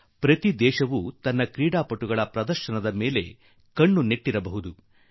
ವಿಶ್ವದ ಪ್ರತಿಯೊಂದು ದೇಶವೂ ತನ್ನ ಆಟಗಾರರ ಪ್ರದರ್ಶನದ ಮೇಲೆ ಬಹಳ ಸೂಕ್ಷ್ಮ ಗಮನ ಇಡುತ್ತಿರಲಿಕ್ಕೆ ಸಾಕು